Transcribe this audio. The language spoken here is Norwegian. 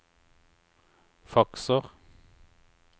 fakser